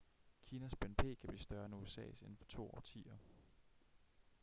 kinas bnp kan blive større end usas inden for to årtier